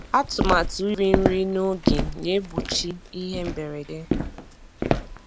Atụmatụ iri nri n'oge na-egbochi ihe mberede.